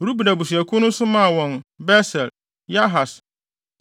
Ruben abusuakuw no nso maa wɔn Beser, Yahas,